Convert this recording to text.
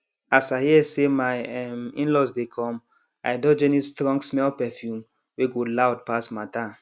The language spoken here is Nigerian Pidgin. as i hear say my um inlaws dey come i dodge any strongsmell perfume wey go loud pass matter